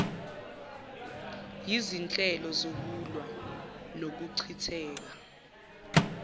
yizinhlelo zokulwa nokuchitheka